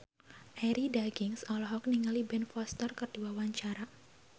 Arie Daginks olohok ningali Ben Foster keur diwawancara